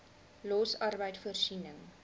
los arbeid voorsiening